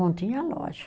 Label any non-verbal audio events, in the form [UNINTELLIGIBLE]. [UNINTELLIGIBLE] tinha loja.